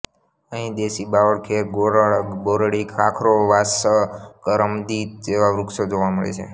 અહીં દેશી બાવળ ખેર ગોરડ બોરડી ખાખરો વાંસ કરમદી જેવા વૃક્ષો જોવા મળે છે